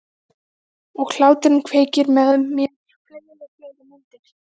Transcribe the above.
Og hláturinn kveikir með mér fleiri og fleiri myndir.